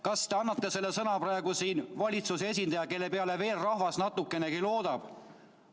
Kas te annate selle sõna praegu siin kui valitsuse esindaja, kelle peale veel rahvas natukenegi loodab?